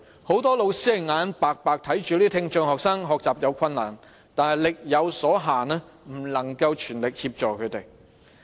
很多老師眼看着這些聽障學生學習有困難，但礙於力有所限，不能全力協助他們。